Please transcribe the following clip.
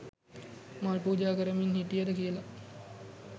මල් පූජා කරමින් හිටියද කියල